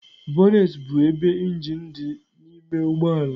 Bonnet bụ ebe injin dị n'ime ụgbọ ala.